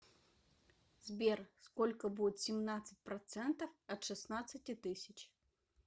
сбер сколько будет семнадцать процентов от шестнадцати тысяч